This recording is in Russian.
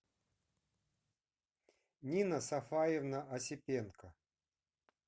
нина сафаевна осипенко